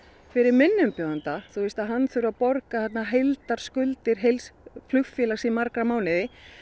fyrir minn umbjóðanda að hann þurfi að borga heildarskuldir heils flugfélags til margra mánaða